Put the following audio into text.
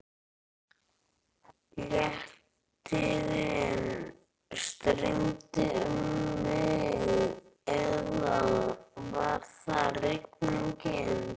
Léttirinn streymdi um mig eða var það rigningin?